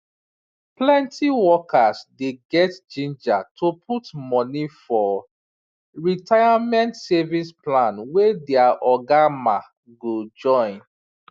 plenty workers dey get ginger to put money for retirement savings plan wey their oga ma go join